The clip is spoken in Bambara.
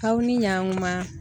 Aw ni ɲankuma.